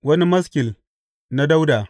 Wani maskil na Dawuda.